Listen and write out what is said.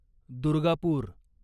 Durgapur